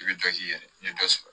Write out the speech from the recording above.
I bɛ dɔ ji yɛrɛ i bɛ dɔ sɔrɔ